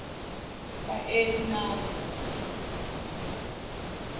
kaenani